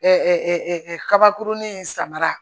kabakurunin in samara